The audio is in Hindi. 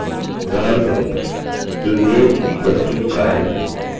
यह गेट get वेरिएबल है